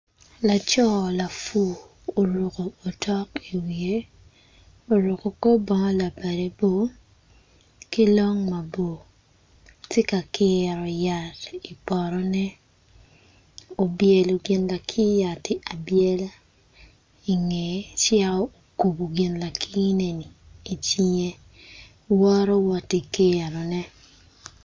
Lacor lapur oruko otok i wiye oruko kor bongo labade bor ki long mabor tye ka kiro yat i pr=otone obyelo gin lakir yati abyela i ngeye ci okubo i cinge